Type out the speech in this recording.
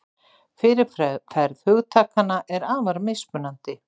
Fyrirferð hugtakanna er afar mismunandi.